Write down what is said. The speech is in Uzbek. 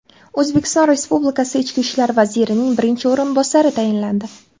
O‘zbekiston Respublikasi Ichki ishlar vazirining birinchi o‘rinbosari tayinlandi.